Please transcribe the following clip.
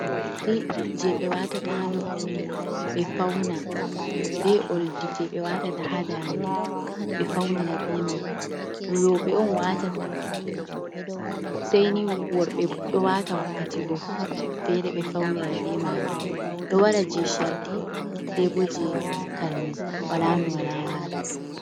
Yeri je ɓe watata ha noppi ɓe fauna ɓe ’oldi je ɓe watata ha dande ɓe faunira be mai, roɓɓe on watata sai ni worɓɓe fu ɗo wata wakkati go, fere ɓe faunira be majum ɗo wara je shardi, be bo je karne, wala no wala wara.